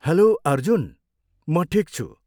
Hello Arjun! म ठिक छु।